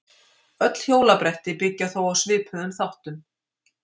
Öll hjólabretti byggja þó á svipuðum þáttum.